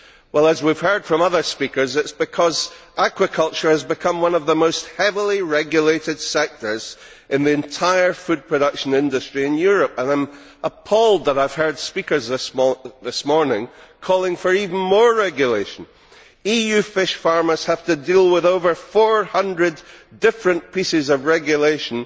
Well, as we have heard from other speakers, it is because aquaculture has become one of the most heavily regulated sectors in the entire food production industry in Europe, and I am appalled that I have heard speakers this morning calling for even more regulation. EU fish farmers have to deal with over 400 different pieces of regulation,